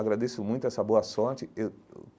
agradeço muito essa boa sorte eh eu.